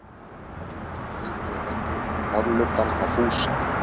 Hún þreif með henni í hárlubbann á Fúsa.